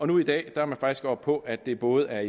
nu i dag er man faktisk oppe på at det både er